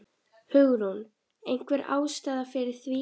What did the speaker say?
Hugrún: Einhver ástæða fyrir því?